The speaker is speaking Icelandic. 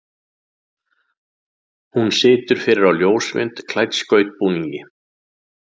Hún situr fyrir á ljósmynd klædd skautbúningi.